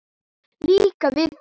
Líka við þá.